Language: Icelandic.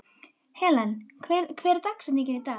Helen, hver er dagsetningin í dag?